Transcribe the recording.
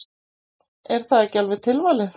Er það ekki alveg tilvalið?